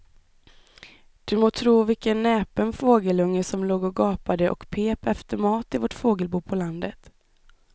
Du må tro vilken näpen fågelunge som låg och gapade och pep efter mat i vårt fågelbo på landet.